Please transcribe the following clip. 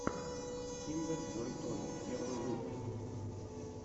киндер джой тойс первый выпуск